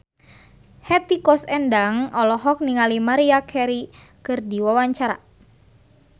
Hetty Koes Endang olohok ningali Maria Carey keur diwawancara